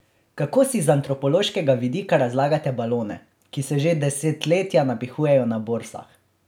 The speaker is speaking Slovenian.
Kako si z antropološkega vidika razlagate balone, ki se že desetletja napihujejo na borzah?